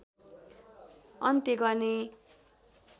अन्त्य गर्ने